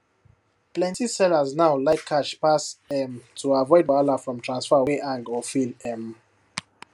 plenty sellers now like cash pass um to avoid wahala from transfer wey hang or fail um